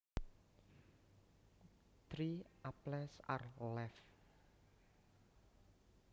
Three apples are left